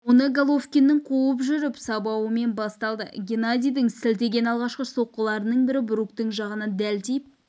оны головкиннің қуып жүріп сабауымен басталды геннадидің сілтеген алғашқы соққыларының бірі бруктың жағына дәл тиіп